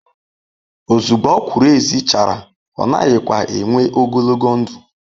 ozugbo okwuru ezi chara o naghi kwa enww ogologo ndu